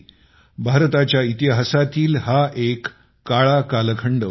भारताच्या इतिहासातील हा एक काळा कालखंड होता